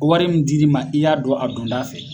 Ko wari min dir'i ma, i y'a dɔn a dondaa fɛ.